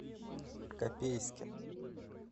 копейске